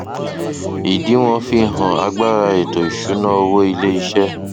ìdíwọn fi hàn agbára ètò ìsúná iléiṣẹ